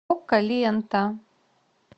окко лента